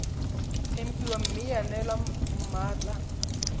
tempiwa mme ya neelwa mmatla